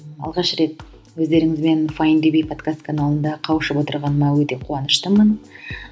алғаш рет өздеріңізбен файндюрби подкаст каналында қауышып отырғаныма өте қуаныштымын